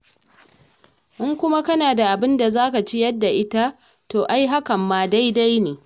In kuwa kana da abin da za ka ciyar da ita, to ai hakan ma daidai ne.